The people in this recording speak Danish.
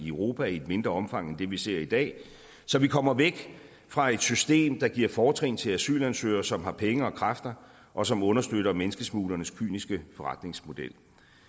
europa i et mindre omfang end det vi ser i dag så vi kommer væk fra et system der giver fortrin til asylansøgere som har penge og kræfter og som understøtter menneskesmuglernes kyniske forretningsmodel